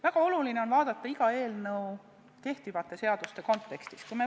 Väga oluline on vaadata iga eelnõu kehtivate seaduste kontekstis.